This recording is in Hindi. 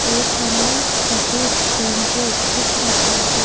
एक हमें सफेद टेम्पू दिख रहा है।